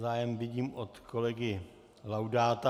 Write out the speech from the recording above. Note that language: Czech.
Zájem vidím od kolegy Laudáta...